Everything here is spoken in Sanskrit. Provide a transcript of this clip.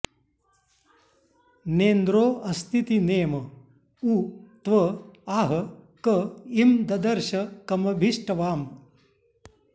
नेन्द्रो अस्तीति नेम उ त्व आह क ईं ददर्श कमभि ष्टवाम